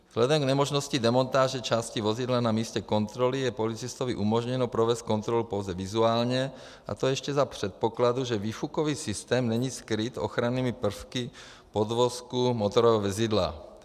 Vzhledem k nemožnosti demontáže části vozidla na místě kontroly je policistovi umožněno provést kontrolu pouze vizuálně, a to ještě za předpokladu, že výfukový systém není skryt ochrannými prvky podvozku motorového vozidla.